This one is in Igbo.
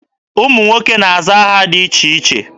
Ụmụ nwoke na-aza aha dị iche iche.